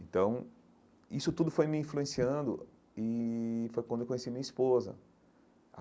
Então, isso tudo foi me influenciando e foi quando eu conheci minha esposa.